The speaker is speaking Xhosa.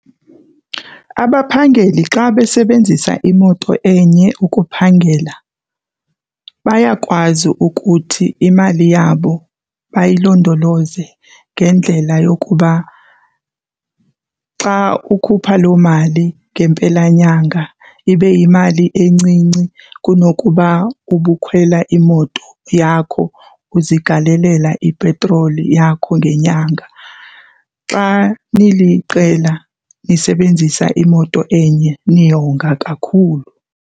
Abaphangeli xa besebenzisa imoto enye ukuphangela bayakwazi ukuthi imali yabo bayilondoloze ngendlela yokuba xa ukhupha loo mali ngempelanyanga ibe yimali encinci kunokuba ubukhwela imoto yakho uzigalelela ipetroli yakho ngenyanga. Xa niliqela nisebenzisa imoto enye, niyonga kakhulu.